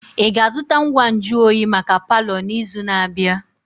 Ị ga-azụta ngwa nju oyi maka palọ n'izu na-abịa?